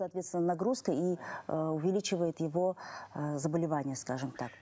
соответственно нагрузка и ы увеличивает его ы заболевания скажем так